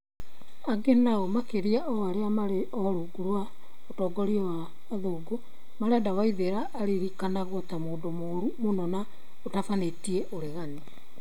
Angĩ nao, makĩria arĩa marĩ o rungu rwa ũtongoria wa athũngu, marenda Waithera aririkanagwo ta mũndũ mũru mũno na ũtabanĩtie ũregani.